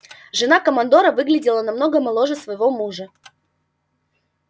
жена командора выглядела намного моложе своего мужа